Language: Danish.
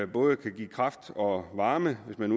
både kan give kraft og varme hvis man